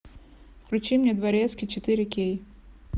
включи мне дворецкий четыре кей